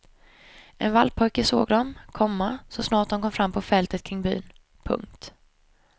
En vallpojke såg dem, komma så snart de kom fram på fälten kring byn. punkt